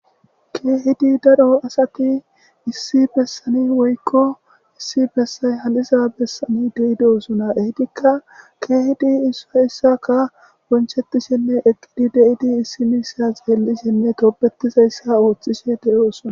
keehidi daro asati issi bessani woykko issi bessay haliza bessani deido sona ehidikka keehidi issa issaka wonchetishenne eqqidi deidi issi miisa xeellishenne goobetizayssa ooththishe de7o sona